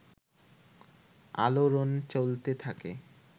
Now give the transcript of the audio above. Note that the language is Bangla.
আলোড়নচলতে থাকে